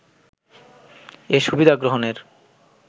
এ সুবিধা গ্রহণের